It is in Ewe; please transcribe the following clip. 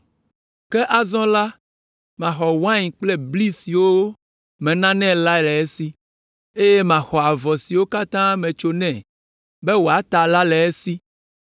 “Ke azɔ la, maxɔ wain kple bli siwo menanɛ la le esi, eye maxɔ avɔ siwo katã metso nɛ be wòata la le esi.